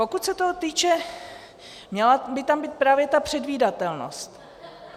Pokud se toho týče, měla by tam být právě ta předvídatelnost.